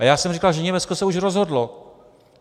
A já jsem říkal, že Německo se už rozhodlo.